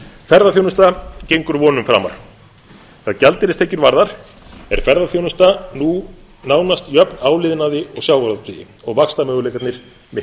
ferðaþjónusta gengur vonum framar hvað gjaldeyristekjur varðar er ferðaþjónustan nú nánast jöfn áliðnaði og sjávarútvegi og vaxtarmöguleikarnir eru